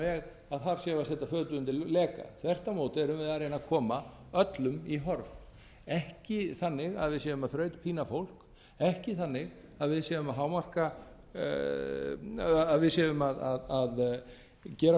setja fötu undir leka þvert á móti erum við að reyna að koma öllum í horf ekki þannig að við séum að þrautpína fólk ekki þannig að við séum að gera